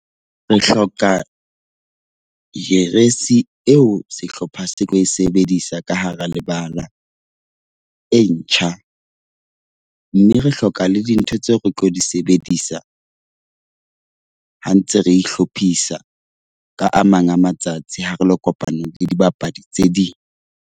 Re hloka jeresi eo sehlopha se tlo e sebedisa ka hara lebala, e ntjha. Mme re hloka le dintho tseo re tlo di sebedisa, ha ntse re ihlophisa ka a mang a matsatsi ha re lo kopana le dibapadi tse ding.